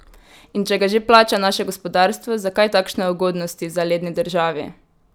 In če ga že plača naše gospodarstvo, zakaj takšne ugodnosti zaledni državi?